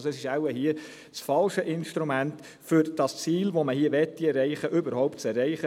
Dies ist wohl das falsche Instrument, um Ziele, welche man hier erreichen will, zu erreichen.